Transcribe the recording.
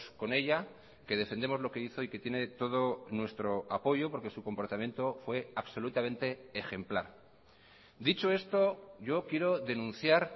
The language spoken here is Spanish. con ella que defendemos lo que hizo y que tiene todo nuestro apoyo porque su comportamiento fue absolutamente ejemplar dicho esto yo quiero denunciar